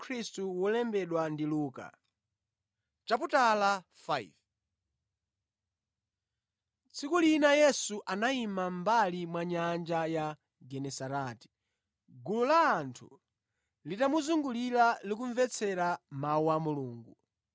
Tsiku lina Yesu anayima mʼmbali mwa nyanja ya Genesareti, gulu la anthu litamuzungulira likumvetsera mawu a Mulungu.